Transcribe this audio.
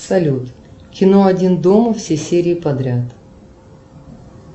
салют кино один дома все серии подряд